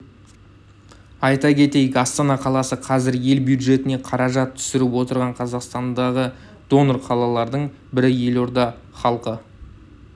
айта кетейік астана қаласы қазір ел бюджетіне қаражат түсіріп отырған қазақстандағы донор қалалардың бірі елорда іалқы